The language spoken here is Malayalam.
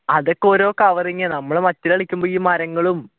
അതൊക്കെ ഒരു covering ആണ് നമ്മൾ മറ്റത്തു കളിക്കുമ്പോ ഈ മരങ്ങളും